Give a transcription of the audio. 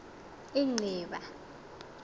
inciba